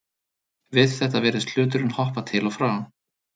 Við þetta virðist hluturinn hoppa til og frá.